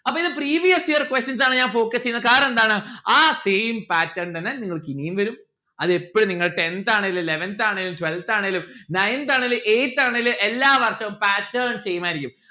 അപ്പൊ ഇത് previous year questions ആണ് ഞാൻ focus എയ്യുന്നെ കാരണം എന്താണ് ആ same pattern തന്നെ നിങ്ങൾക്കിനിയും വരും അത് എപ്പൊഴും നിങ്ങൾക്ക് tenth ആണേലും eleventh ആണേലും twelfth ആണേലും nineth ആണേലു eighth ആണേലും എല്ലാ വർഷവും pattern same ആയിരിക്കും.